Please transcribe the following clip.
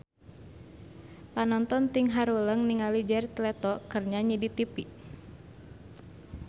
Panonton ting haruleng ningali Jared Leto keur nyanyi di tipi